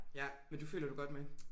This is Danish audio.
Ja men du føler du godt med?